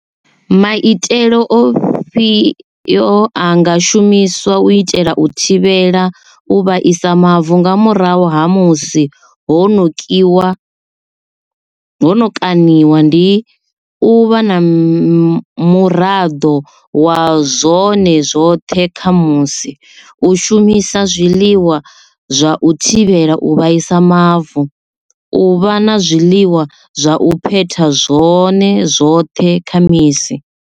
Maitele ofhi yo anga shumiswa u itela u thivhela u vhaisa mavu nga murahu ha musi ho no kiwa ho no kaṋiwa ndi u vha na muraḓo wa zwone zwoṱhe kha musi u shumisa zwiḽiwa zwa u thivhela u vhaisa mavu u vha na zwiḽiwa zwa u phetha zwone zwoṱhe kha misi.